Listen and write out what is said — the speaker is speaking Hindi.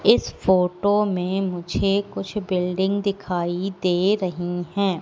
इस फोटो में मुझे कुछ बिल्डिंग दिखाई दे रही हैं।